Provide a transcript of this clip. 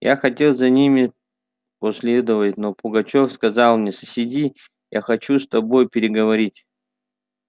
я хотел за ними последовать но пугачёв сказал мне сиди я хочу с тобою переговорить